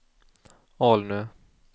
Alnö